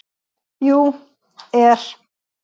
. jú. er.